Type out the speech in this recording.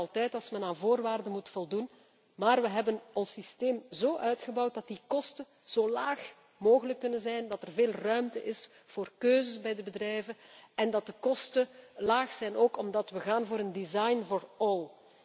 Kosten zijn er inderdaad altijd als men aan voorwaarden moet voldoen, maar wij hebben ons systeem zo uitgebouwd dat die kosten zo laag mogelijk kunnen zijn, dat er veel ruimte is voor keuzes bij de bedrijven en dat de kosten laag zijn, ook omdat we gaan voor een design for all